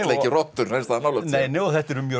ekki rottur neins staðar nálægt sér nei nei og þetta eru mjög